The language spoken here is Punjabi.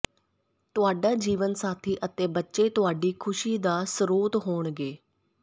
ਤੁਹਾਡਾ ਜੀਵਨ ਸਾਥੀ ਅਤੇ ਬੱਚੇ ਤੁਹਾਡੀ ਖੁਸ਼ੀ ਦਾ ਸਰੋਤ ਹੋਣਗੇ